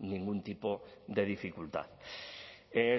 ningún tipo de dificultad